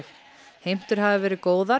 heimtur hafi verið góðar